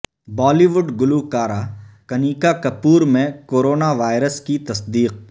بالی would گلوکارہ کنیکا کپور میں corona virus کی تصدیق